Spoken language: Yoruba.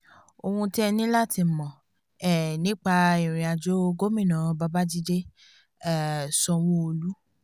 ohun tí ẹ ní láti mọ̀ um nípa irìnàjò gómìnà babàjídé um sanwó-olu